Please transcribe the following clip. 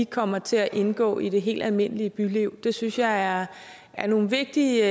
kommer til at indgå i det helt almindelige byliv det synes jeg er er nogle vigtige